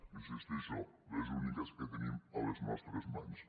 hi insisteixo les úniques que tenim a les nostres mans